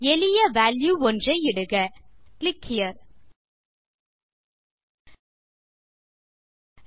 எளிய வால்யூ ஒன்று இடுக கிளிக் ஹெரே